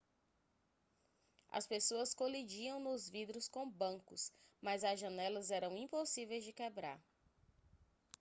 as pessoas colidiam nos vidros com bancos mas as janelas eram impossíveis de quebrar